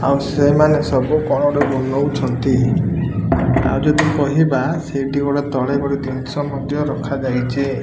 ଆଉ ସେମାନେ ସବୁ କଣ ଗୋଟେ ବୁଲଉଛନ୍ତି ଆଉ ଯଦି କହିବା ସେଇଠି ଗୋଟେ ତଳେ ପଡି ମଧ୍ୟ ଜିନିଷ ରଖା ଯାଇଛି।